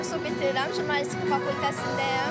Dördüncü kursu bitirirəm, jurnalistika fakültəsindəyəm.